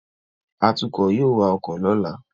Atukọ̀ yóò wa ọkọ̀ lọ́la